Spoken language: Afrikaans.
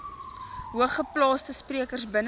hoogeplaasde sprekers binne